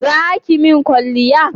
Za ki mun kwalliya?